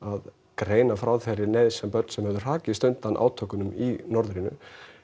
greina frá þeirri neyð sem börn sem höfðu hrakist undan átökunum í norðrinu